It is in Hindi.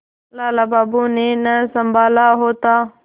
लाला बाबू ने न सँभाला होता